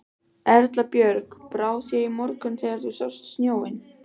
Erla Björg: Brá þér í morgun þegar þú sást snjóinn?